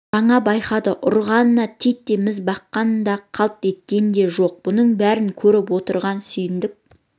жаңа байқады ұрғанына титтей міз баққан да қалт еткен де жоқ бұның бәрін көріп отырған сүйіндік